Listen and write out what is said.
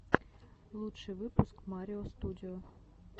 лучший выпуск марио студио